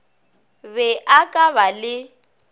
be a ka ba le